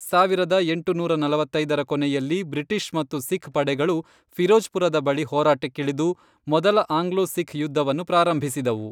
ಸಾವಿರದ ಎಂಟುನೂರ ನಲವತ್ತೈದರ ಕೊನೆಯಲ್ಲಿ, ಬ್ರಿಟಿಷ್ ಮತ್ತು ಸಿಖ್ ಪಡೆಗಳು ಫಿರೋಜ್ಪುರದ ಬಳಿ ಹೋರಾಟಕ್ಕಿಳಿದು, ಮೊದಲ ಆಂಗ್ಲೋ ಸಿಖ್ ಯುದ್ಧವನ್ನು ಪ್ರಾರಂಭಿಸಿದವು.